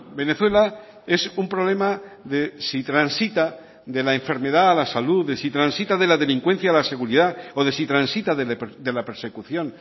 venezuela es un problema de si transita de la enfermedad a la salud de si transita de la delincuencia a la seguridad o de si transita de la persecución